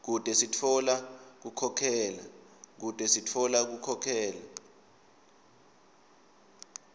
kute sitfola kukhokhela